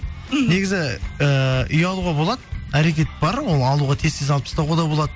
негізі ыыы үй алуға болады әрекет бар ол алуға тез тез алып тастауға да болады